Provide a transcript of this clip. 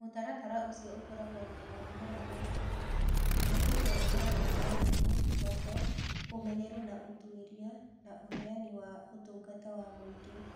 Mũtaratara ũcio ũkoragwo na maũndũ mana ma bata: Kũhĩtũkwo nĩ maũndũ ma thimũ, thoko, ũmenyeru na ũtuĩria, na ũheani wa ũtungata wa mũingĩ.